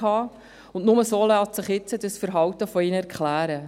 Nur so lässt sich ihr jetziges Verhalten erklären.